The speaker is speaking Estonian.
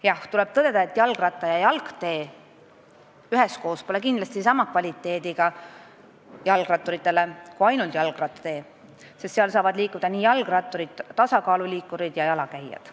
Jah, tuleb tõdeda, et kindlasti pole jalgratturitele jalgratta- ja jalgtee sama kvaliteediga kui jalgrattatee, sest esimesena nimetatul saavad liikuda jalgratturid, tasakaaluliikurid ja jalakäijad.